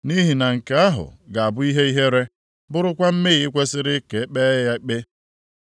Nʼihi na nke ahụ ga-abụ ihe ihere, bụrụkwa mmehie kwesiri ka e kpee ya ikpe.